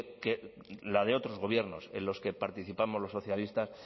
que la de otros gobiernos en los que participamos los socialistas